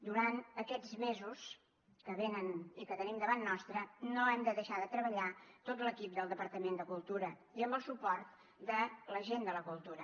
durant aquests mesos que venen i que tenim davant nostre no hem de deixar de treballar tot l’equip del departament de cultura i amb el suport de la gent de la cultura